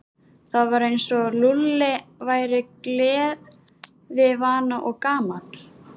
Það var eins og Lúlli væri gleðivana og gamall.